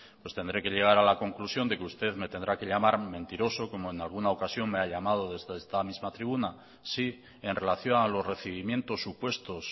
pues tendré que llegar a la conclusión de que usted me tendrá que llamar mentiroso como en alguna ocasión me ha llamado desde esta misma tribuna sí en relación a los recibimientos supuestos